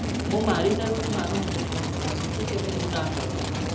મુ મારી તરફ થી હું કહી સકું કલે મુ ન કરું એમ